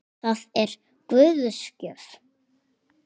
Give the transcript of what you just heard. Það er Guðs gjöf.